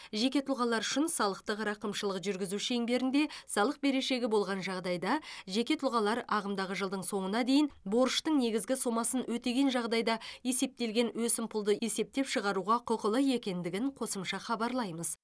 жеке тұлғалар үшін салықтық рақымшылық жүргізу шеңберінде салық берешегі болған жағдайда жеке тұлғалар ағымдағы жылдың соңына дейін борыштың негізгі сомасын өтеген жағдайда есептелген өсімпұлды есептен шығаруға құқылы екендігін қосымша хабарлаймыз